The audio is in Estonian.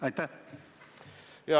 Aitäh!